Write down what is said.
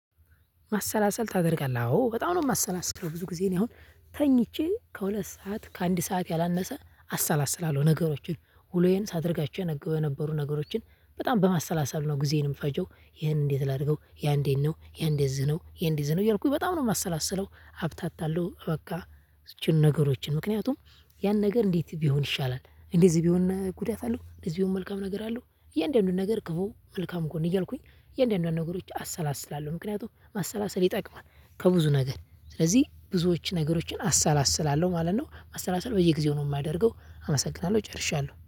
ማሰላሰል ታደርጋለህ አዎ በጣም ነው የማሰላስለው ብዙ ጊዜ ነው። አሁን ተኝቼ ከሁለት ሰዓት ከአንድ ሰዓት ያላነሰ አሰላስላለሁ ነገሮችን ውሎዬን ሳደርጋቸው የነገበ የነበሩ ነገሮችን በጣም በማሰላሰል ነው። ጊዜዬንም የምፈጀው ይህንን እንዴት ላድርገው ያንዴን ነው ያንዴዝነው ያይዴዝነው ያልኩኝ በጣም ነው የማሰላስለው። ሀብታት አለው በቃ። ነገሮችን ምክንያቱም ያን ነገር እንዴት ቢሆን ይሻላል? እንደዚህ ቢሆን ጉዳት አለው እንደዚህ ቢሆን መልካም ነገር አሉ። የእያንዳንዱን ነገር ክፉ መልካም እኮ ነው እያልኩኝ የእያንዳንዱን ነገሮች አሰላስላለሁ ምክንያቱም ማሰላሰል ይጠቅማል። ከብዙ ነገር ስለዚህ ብዙዎች ነገሮችን አሰላስላለሁ ማለት ነው። አሰላስላለሁ በየጊዜው ነው የማደርገው አመሰግናለሁ ጨርሻለሁ